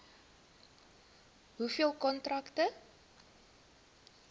hoeveel kontrakte